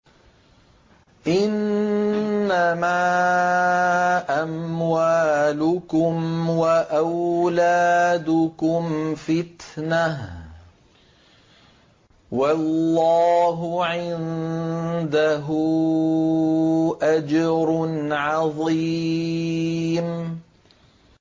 إِنَّمَا أَمْوَالُكُمْ وَأَوْلَادُكُمْ فِتْنَةٌ ۚ وَاللَّهُ عِندَهُ أَجْرٌ عَظِيمٌ